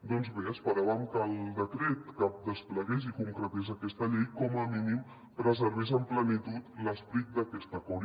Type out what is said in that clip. doncs bé esperàvem que el decret que desplegués i concretés aquesta llei com a mínim preservés en plenitud l’esperit d’aquest acord